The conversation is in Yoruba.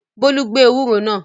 Bólú gbẹ ewúro náà?